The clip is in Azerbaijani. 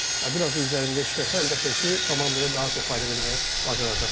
Biraz da üzərində işləsə, əlbəttə ki, komandaya daha çox fayda verməyi bacaracaq.